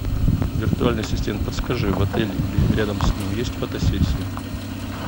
виртуальный ассистент подскажи в отеле или рядом с ним есть фотосессия